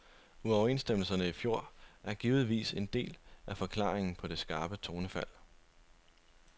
Uoverenstemmelserne i fjor er givetvis en del af forklaringen på det skarpe tonefald.